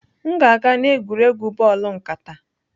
M na-aga n'egwuregwu bọọlụ nkata.